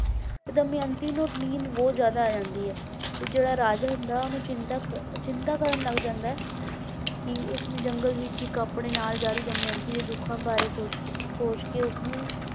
ਤੇ ਦਮਿਅੰਤੀ ਨੂੰ ਨੀਂਦ ਬਹੁਤ ਜ਼ਿਆਦਾ ਆ ਜਾਂਦੀ ਹੈ ਤੇ ਜਿਹੜਾ ਰਾਜਾ ਹੁੰਦਾ ਹੈ ਉਹਨੂੰ ਚਿੰਤਕ ਚਿੰਤਾ ਕਰਨ ਲੱਗ ਜਾਂਦਾ ਹੈ ਕਿ ਉਸਨੇ ਜੰਗਲ ਵਿੱਚ ਇੱਕ ਆਪਣੇ ਨਾਲ ਜਾ ਰਹੀ ਦਮਿਅੰਤੀ ਦੇ ਦੁੱਖਾਂ ਬਾਰੇ ਸੋਚ ਸੋਚ ਕੇ ਉਸਨੂੰ